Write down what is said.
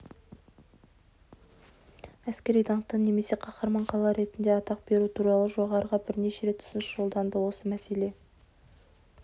әскери даңқты немесе қаһарман қала ретінде атақ беру туралы жоғарыға бірнеше рет ұсыныс жолданды осы мәселе